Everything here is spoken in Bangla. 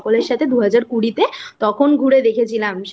সকলের সাথে দুহাজার কুড়ি তে তখন ঘুরে দেখেছিলাম